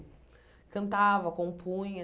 Cantava compunha